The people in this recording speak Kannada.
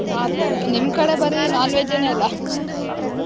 ಆ ತರ ನಿಮ್ ಕಡೆ ಬರೀ non-veg ನೇ ಅಲ್ಲಾ.